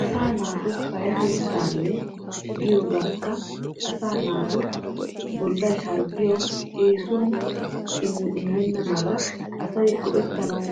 Asa naatu payyatettawunne giyoogekka asa naatu bollay harggiyaw eessiwan eenenna mala asay go"ettanaw